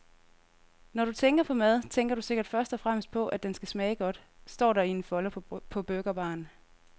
Når du tænker på mad, tænker du sikkert først og fremmest på, at den skal smage godt, står der i en folder på burgerbaren.